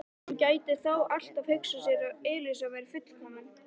Hann gæti þó alltaf hugsað sér að Elísa væri fullkomin.